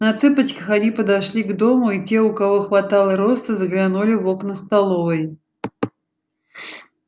на цыпочках они подошли к дому и те у кого хватало роста заглянули в окна столовой